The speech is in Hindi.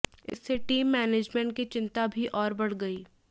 इससे टीम मैनजमेंट की चिंता भी आैर बढ़ गई